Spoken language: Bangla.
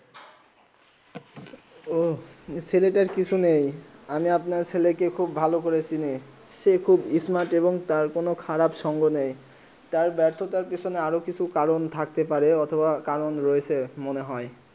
ওহঃ ছেলে তা কিছু নেই আমি আপনার ছেলে কে ভালো করে চিহ্নি সেই খুব স্মার্ট তার কোনো খারাব সংঘ নেই তার ব্যর্থ পিছনে আর কিছু কারণ থাকতে পারে অথবা কারণ রয়েছে মনে হয়ে